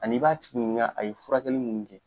Ani i b'a tigi ɲininka a ye furakɛli minnu kɛ